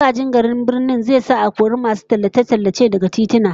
Magajin garin Birnin zai sa a kori masu tallace-tallace daga tituna